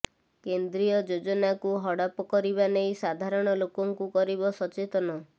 କେନ୍ଦ୍ରୀୟ ଯୋଜନାକୁ ହଡପ କରିବା ନେଇ ସାଧାରଣ ଲୋକଙ୍କୁ କରିବ ସଚେତନ